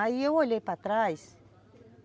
Aí eu olhei para trás.